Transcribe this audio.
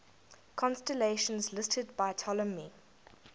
constellations listed by ptolemy